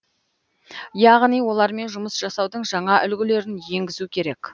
яғни олармен жұмыс жасаудың жаңа үлгілерін енгізу керек